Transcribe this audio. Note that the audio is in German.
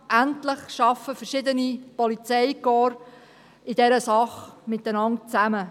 Endlich arbeiten verschiedene Polizeikorps in dieser Sache zusammen.